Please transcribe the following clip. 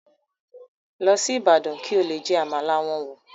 Lọ sí Ibadan kí o lọ jẹ Àmàlà wọn wò